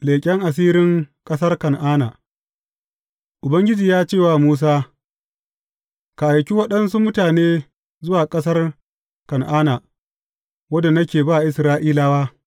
Leƙen asirin ƙasar Kan’ana Ubangiji ya ce wa Musa, Ka aiki waɗansu mutane zuwa ƙasar Kan’ana, wadda nake ba Isra’ilawa.